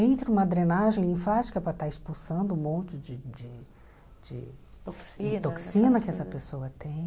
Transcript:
Entra uma drenagem linfática para estar expulsando um monte de de toxina de toxina que essa pessoa tem.